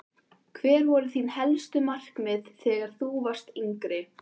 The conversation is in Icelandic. Hver voru þín helstu markmið þegar þú varst yngri?